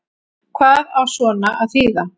Hvað á svona að þýða